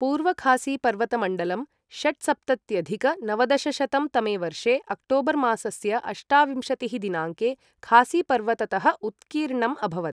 पूर्वखासीपर्वतमण्डलं षट्सप्तत्यधिक नवदशशतं तमे वर्षे अक्टोबर् मासस्य अष्टाविंशतिः दिनाङ्के खासीपर्वततः उत्कीर्णम् अभवत्।